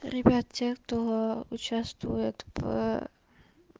ребят те кто участвует в